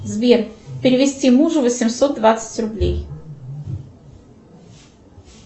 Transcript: сбер перевести мужу восемьсот двадцать рублей